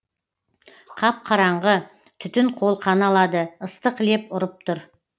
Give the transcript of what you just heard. қап қараңғы түтін қолқаны алады ыстық леп ұрып тұр